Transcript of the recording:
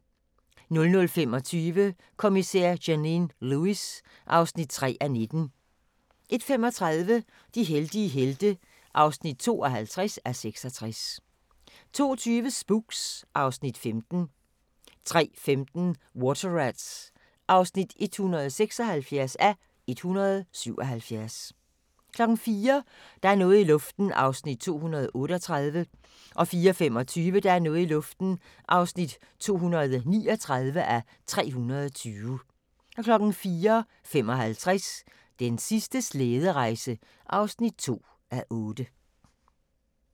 00:25: Kommissær Janine Lewis (3:19) 01:35: De heldige helte (52:66) 02:20: Spooks (Afs. 15) 03:15: Water Rats (176:177) 04:00: Der er noget i luften (238:320) 04:25: Der er noget i luften (239:320) 04:55: Den sidste slæderejse (2:8)